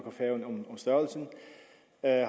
at